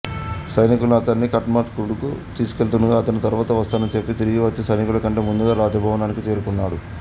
సైనికులు అతన్ని ఖాట్మండుకు తీసుకెళ్తుండగా అతను తరువాత వస్తానని చెప్పి తిరిగి వచ్చి సైనికుల కంటే ముందుగా రాజభవనానికి చేరుకున్నాడు